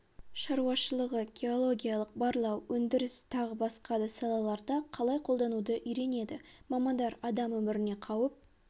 шаруашылығы геологиялық барлау өндіріс тағы басқа да салаларда қалай қолдануды үйренеді мамандар адам өміріне қауіп